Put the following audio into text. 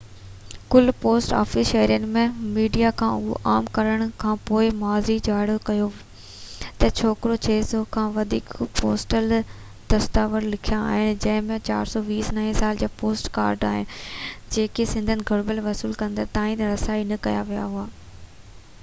ڪلهه post office شهرين ۽ media کان اهو معلوم ڪرڻ کانپوءِ معافي جاري ڪئي ته ڇوڪرو 600 کان وڌيڪ پوسٽل دستاويز لڪايا آهن جن ۾ 429 نئين سال جا پوسٽ ڪارڊ آهن جيڪي سندن گهربل وصول ڪندڙن تائين رسائي نه ڪيا ويا هئا